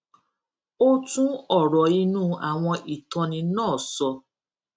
ó tún òrò inú àwọn ìtóni náà sọ